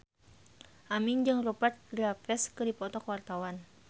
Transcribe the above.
Aming jeung Rupert Graves keur dipoto ku wartawan